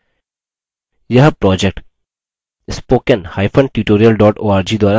यह project